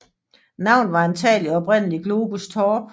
Navnet var antagelig oprindelig Globs torp